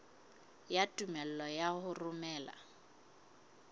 ya tumello ya ho romela